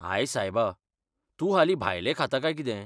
हाय सायबा! तूं हालीं भायलें खाता काय कितें?